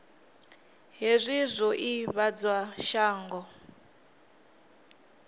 hezwi zwi o ivhadzwa shango